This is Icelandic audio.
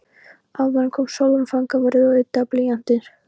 Áðan kom Sólrún fangavörður og yddaði blýantinn.